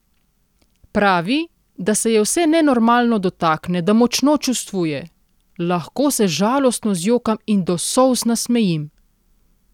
Pravi, da se je vse nenormalno dotakne, da močno čustvuje: "Lahko se žalostno zjokam in do solz nasmejim.